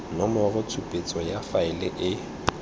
nomoro tshupetso ya faele e